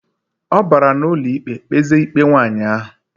Obara na ụlọikpe kpeze ikpe nwaanyi ahu.